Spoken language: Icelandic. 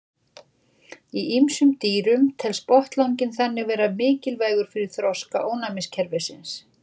Í ýmsum dýrum telst botnlanginn þannig vera mikilvægur fyrir þroska ónæmiskerfisins.